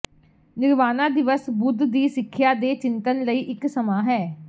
ਨਿਰਵਾਣਾ ਦਿਵਸ ਬੁੱਧ ਦੀ ਸਿੱਖਿਆ ਦੇ ਚਿੰਤਨ ਲਈ ਇੱਕ ਸਮਾਂ ਹੈ